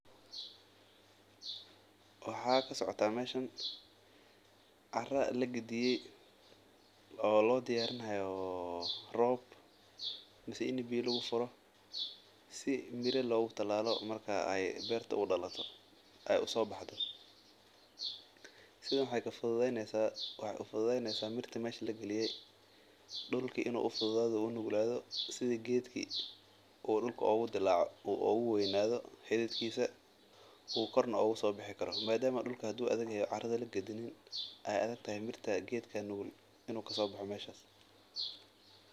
Waxaa kasocdaa meeshan cara lagadiye oo loo diyaarini haayo roob si mira loogu taalalo beer usoo baxdo, waxeey kacawineysa mirta inaay dilacdo oo geed kasoo baxo, madama hadii carada kagadinin aay adag tahay geed inuu kasoo baxo meeshaas.